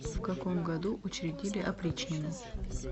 в каком году учредили опричнину